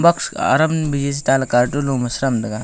box aram biji chetaley carton loa ma sheram tega.